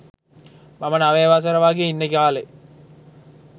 මම නවය වසරෙ වගේ ඉන්න කාලෙ.